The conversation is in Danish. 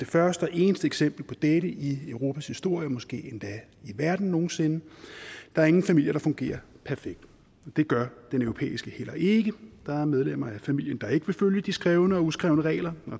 første og eneste eksempel på dette i europas historie og måske endda i verden nogen sinde der er ingen familier der fungerer perfekt og det gør den europæiske heller ikke der er medlemmer af familien der ikke vil følge de skrevne og uskrevne regler